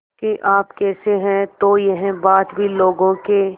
कि आप कैसे हैं तो यह बात भी लोगों के